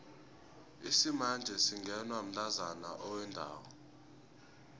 isimanje singenwa mntazana owendako